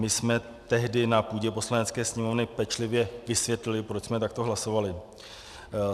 My jsme tehdy na půdě Poslanecké sněmovny pečlivě vysvětlili, proč jsme takto hlasovali.